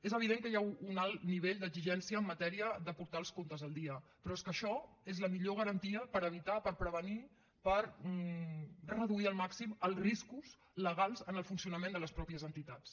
és evident que hi ha un alt nivell d’exigència en matèria de portar els comptes al dia però és que això és la millor garantia per evitar per prevenir per reduir al màxim els riscos legals en el funcionament de les mateixes entitats